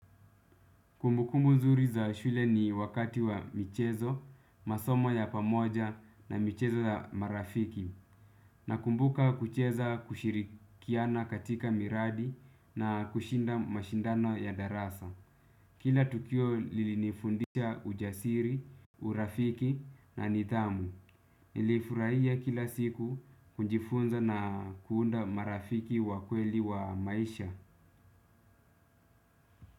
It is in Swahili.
Kumbukumbu mzuri za shule ni wakati wa michezo, masomo ya pamoja na michezo ya marafiki. Nakumbuka kucheza kushirikiana katika miradi na kushinda mashindano ya darasa. Kila tukio lilinifundisha ujasiri, urafiki na nidhamu. Nilifurahia kila siku kujifunza na kuunda marafiki wa kweli wa maisha.